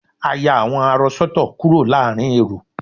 a ya awọn arọ sọtọ kúrò láàrin èrò